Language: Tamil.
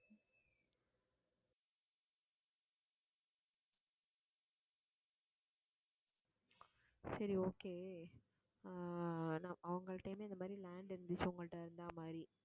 சரி okay ஆஹ் அவங்கள்டையுமே இந்த மாதிரி land இருந்துச்சு உங்கள்ட்ட இருந்த மாதிரி